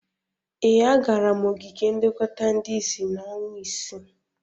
Ee, agara m ogige nlekọta ndị isi n'ọnwa ise.